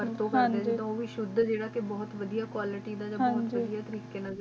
ਸ਼ੁ ਜੇਰਾ ਕੁਆਲਿਟੀ ਦਾ ਹੈ ਓਹੀ ਕ ਇਦ੍ਸਰ ਤ ਜਿਆਦਾ